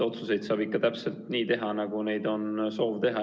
Otsuseid saab ikka teha täpselt nii, nagu neid on soov teha.